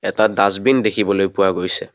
এটা ডাছবিন দেখিবলৈ পোৱা গৈছে।